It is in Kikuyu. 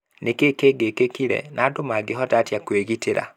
Nĩ kĩĩ giĩkĩkire, na andũ mangĩhota atĩa kwĩgitĩra?